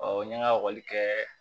n ye n ka ekɔli kɛ